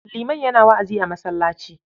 Liman yana wa'azi a masallaci.